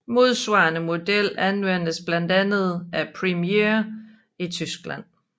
Modsvarende model anvendes blandt andet af Premiere i Tyskland